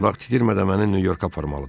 Vaxt itirmədən məni Nyu-Yorka aparmalıdır.